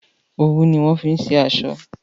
òwu ni wón fí ṣe aṣọ.